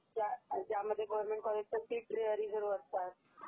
ज्यामध्ये गव्हर्न्मेंट कॉलेजच्या seats reserve असतात